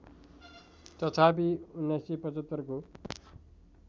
तथापि १९७५ को